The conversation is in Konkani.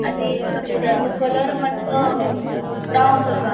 आणि समुद्राचो कलर मात्सो अ ब्राउन कसो आ --